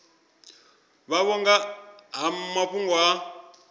vhavho nga ha mafhungo a